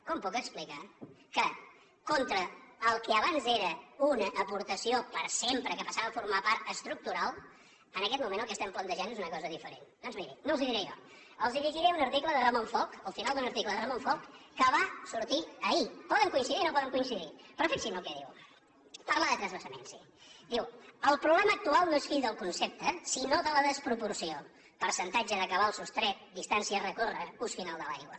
com puc explicar que contra el que abans era una aportació per sempre que passava a formar a part estructural en aquest moment el que plantegem és una cosa diferent doncs mirin no els ho diré jo els llegiré un article de ramon folch el final d’un article de ramon folch que va sortir ahir que poden coincidir hi o no poden coincidir hi però fixin se què diu que parla de transvasaments sí que diu el problema actual no és fill del concepte sinó de la desproporció percentatge de cabal sostret distància a recórrer ús final de l’aigua